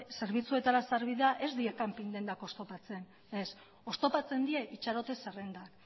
zerbitzuetara sarbidea ez die kanping dendak oztopatzen ez oztopatzen die itxarote zerrendak